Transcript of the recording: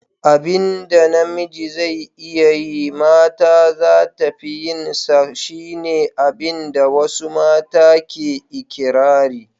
Abin da namiji zai iya yi mata zata fi yin sa, shi ne abin da wasu mata ke ikirari.